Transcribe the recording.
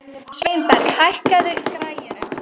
Sveinberg, hækkaðu í græjunum.